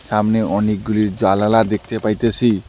সামনে অনেকগুলি জালালা দেখতে পাইতেসি।